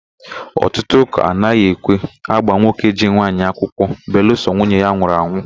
Ọtụtụ ụ́kà anaghị ekwe ágbà nwoke ji nwaanyị akwụkwọ belụsọ nwunye ya anwụrụ anwụ.